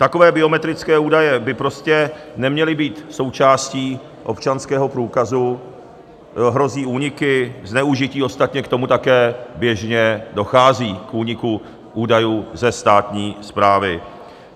Takové biometrické údaje by prostě neměly být součástí občanského průkazu - hrozí úniky, zneužití, ostatně k tomu také běžně dochází, k úniku údajů ze státní správy.